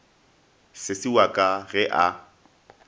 sesi wa ka ge a